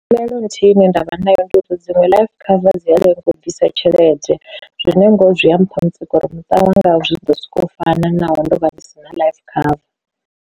Ndavhelelo nthihi ine ndavha nayo ndi uri dziṅwe life cover dzi a lenga u bvisa tshelede, zwine ngori zwi a mpha mutsiko uri muṱa wanga wo zwi ḓo sokou u fana naho ndo vha ndi si na life cover.